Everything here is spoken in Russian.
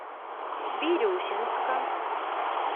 бирюсинска